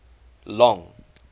long